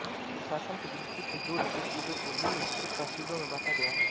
प्रशासन की दृष्टि से जोधपुर ज़िले को निम्न तहसीलों में बाँटा गया है